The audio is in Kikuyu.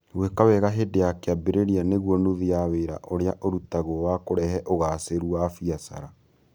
Gwĩka wega hĩndĩ ya kĩambĩrĩria nĩguo nuthu ya wĩra ũrĩa ũrutagwo wa kũrehe ũgaacĩru wa biacara.